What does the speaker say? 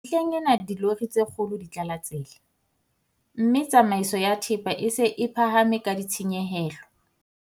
Mehleng ena dilori tse kgolo di tlala tsela, mme tsamaiso ya thepa e se e phahame ka ditshenyehelo.